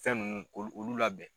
Fɛn ninnu k'olu olu labɛn.